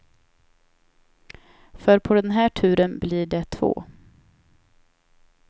För på den här turen blir det två.